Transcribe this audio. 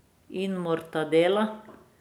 In mortadela.